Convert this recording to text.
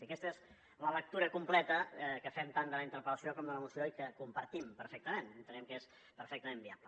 i aquesta és la lectura completa que fem tant de la interpel·lació com de la moció i que compartim perfectament entenem que és perfectament viable